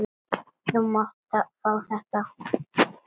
Þú mátt fá þetta.